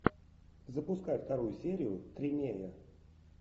запускай вторую серию тримея